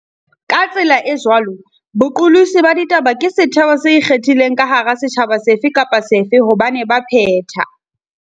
Ka tsela e jwalo, boqolotsi ba ditaba ke setheo se ikgethileng ka hara setjhaba sefe kapa sefe hobane baphetha